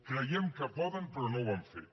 creiem que poden però no ho han fet